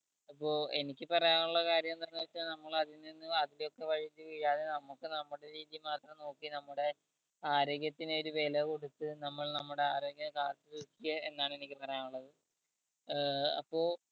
അപ്പൊ എനിക്ക് പറയാനുള്ള കാര്യം എന്താണെന്ന് വെച്ചാൽ നമ്മൾ അതിൽ നിന്നും അതിലേക്ക് വഴുതി വീഴാതെ നമുക്ക് നമ്മുടെ നോക്കി നമ്മുടെ ആരോഗ്യത്തിന് ഒരു വേല കൊടുത്ത് നമ്മൾ നമ്മുടെ ആരോഗ്യം കാത്തു സൂക്ഷിക്കുക എന്നാണ് എനിക്ക് പറയാനുള്ളത്